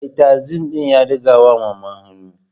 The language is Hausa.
Mai tasi din ya dagawa mama hannu